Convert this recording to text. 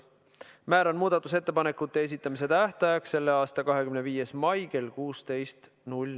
Määran muudatusettepanekute esitamise tähtajaks selle aasta 25. mai kell 16.